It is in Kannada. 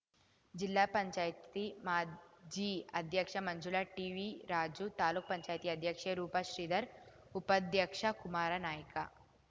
ಜಿಲ್ಲಾ ಪಂಚಾಯತಿ ಮಾಜಿ ಅಧ್ಯಕ್ಷ ಮಂಜುಳಾ ಟಿವಿರಾಜು ತಾಲೂಕು ಪಂಚಾಯತಿ ಅಧ್ಯಕ್ಷೆ ರೂಪ ಶ್ರೀಧರ್‌ ಉಪಾಧ್ಯಕ್ಷ ಕುಮಾರನಾಯ್ಕ